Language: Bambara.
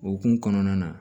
Okumu kɔnɔna na